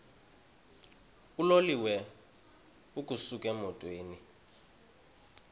uloliwe ukusuk emontini